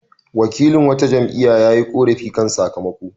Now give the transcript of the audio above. Wakilin wata jam'iyya ya yi ƙorafi kan sakamako.